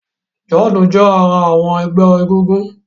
John jé ará àwọn egbé egúngún.